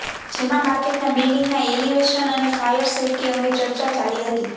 જેમાં માર્કેટના બિલ્ડિંગના એલિવેશન અને ફાયર સેફ્ટી અંગે ચર્ચા ચાલી હતી